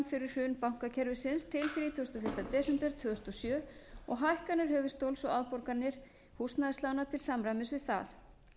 fyrir hrun bankakerfisins til þrítugasta og fyrsta desember tvö þúsund og sjö og hækkanir höfuðstóls og afborganir húsnæðislána til samræmis við það